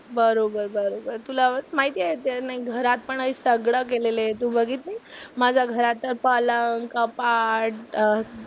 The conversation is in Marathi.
बरोबर बरोबर. तुला माहिती आहे ते नाही घरात पण हे सगळं केलेलं आहे तू बघितलीस? माझ्या घराचं पलंग, कपाट अं